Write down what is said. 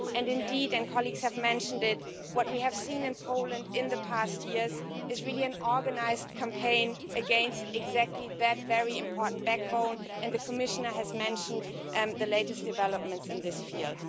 Indeed and colleagues have mentioned it what we have seen in Poland in the past years is an organised campaign against that very important backbone, and the Commissioner has mentioned the latest developments in this field.